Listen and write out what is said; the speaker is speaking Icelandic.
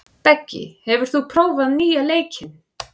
Beggi, hefur þú prófað nýja leikinn?